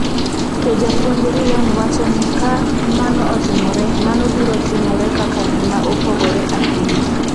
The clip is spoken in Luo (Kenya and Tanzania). To Japuonj Ryan wacho ni ka mano otimore, mano biro timore kaka gima opogore ahinya.